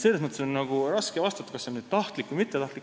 Selles mõttes on raske vastata, kas see oli tahtlik või mitte.